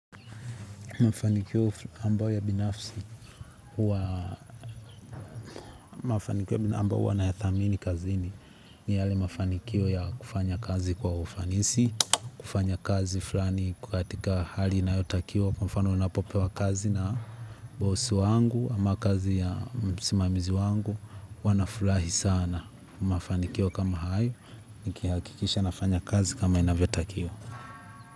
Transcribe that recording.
Mafanikio ambayo ya binafsi huwa mafanikio ambayo huwa nayathamini kazini ni yale mafanikio ya kufanya kazi kwa ufanisi, kufanya kazi flani iko katika hali inayotakiwa kwa mfano ninapopewa kazi na boss wangu ama kazi ya msimamizi wangu huwa nafurahi sana mafanikio kama hayo nikihakikisha nafanya kazi kama inavyotakiwa.